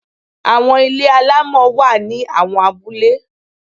Àwọn ilé alámọ̀ wá ní àwọn abúlé.